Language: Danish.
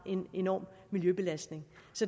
en enorm miljøbelastning